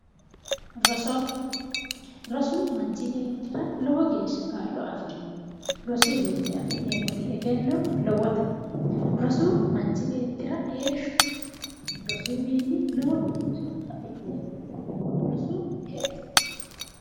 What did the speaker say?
Roso, rosu manchi beettira lowo geeshsha kaa'lo afirini. Rosuyiwiinni afi'neemmoti egenno lowote. Rosu manchu beettira heeshshote. Rosuyiwiinni lowo buicho afi'neemmo. Rosu hexxote.